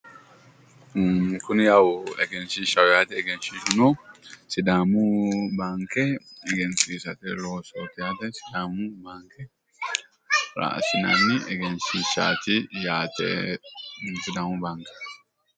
Kuni yawu egenshshiishshaho yaate egenshshiishshuno sidaamu baanke egensiisate loosooti yaate, sidaamu baankera raa assinanni egenshshishshaati yaate. sidaamu baanke.